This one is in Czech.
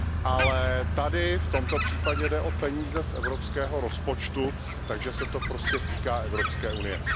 Ale tady, v tomto případě, jde o peníze z evropského rozpočtu, takže se to prostě týká Evropské unie.